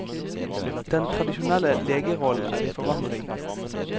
Den tradisjonelle legerollen er i forandring.